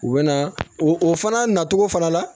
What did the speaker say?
U bɛ na o fana na cogo fana la